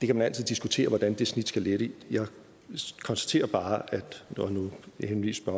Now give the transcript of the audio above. kan altid diskutere hvordan det snit skal ligge jeg konstaterer bare og nu henviste